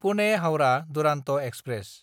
पुने–हाउरा Duronto express